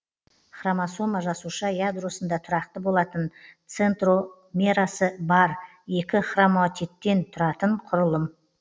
хромосома жасуша ядросында тұрақты болатын центромерасы бар екі хроматидтен тұратын құрылым